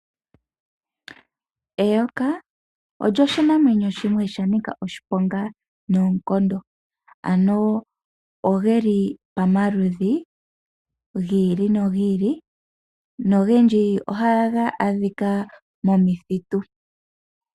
Eyoka osho oshinamwenyo shimwe sha nika oshiponga noonkondo. Ano ogeli pamaludhi yiili nogiili. Nongendji ohaga adhika momakuti.